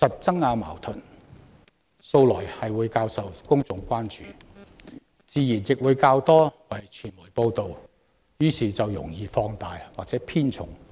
爭拗矛盾素來較受公眾關注，傳媒自然亦會多加報道，於是某些論據就容易被放大或偏重。